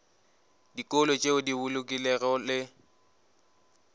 dikolo tšeo di bolokegilego le